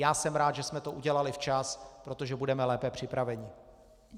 Já jsem rád, že jsme to udělali včas, protože budeme lépe připraveni.